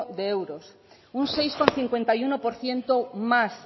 de euros un seis coma cincuenta y uno por ciento más